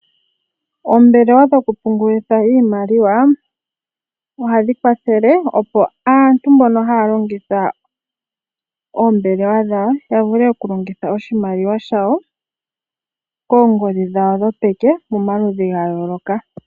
Oombelewa dhokupungulitha iimaliwa ohadhi kwathele, opo aantu mbono haya longitha oombelewa dhawo ya vule okulongitha oshimaliwa shawo koongodhi dhawo dhopeke pamaludhi ga yooloka.